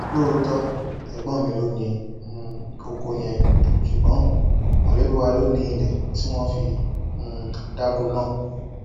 lóòótọ ẹgbọn mi ló ni um ọkọ yẹn ṣùgbọn mọlẹbí wa ló ni ilé tí wọn fi um dáko náà